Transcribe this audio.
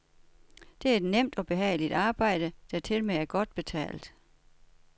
Det er et nemt og behageligt arbejde, der tilmed er godt betalt.